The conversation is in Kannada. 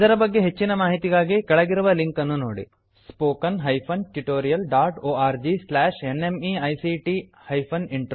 ಇದರ ಬಗ್ಗೆ ಹೆಚ್ಚಿನ ಮಾಹಿತಿಗಾಗಿ ಕೆಳಗಿರುವ ಲಿಂಕ್ ಅನ್ನುನೋಡಿ httpspoken tutorialorgNMEICT Intro